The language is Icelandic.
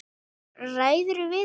Haukur: Ræðirðu við þetta?